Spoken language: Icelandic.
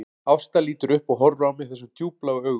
Ásta lítur upp og horfir á mig þessum djúpbláu augum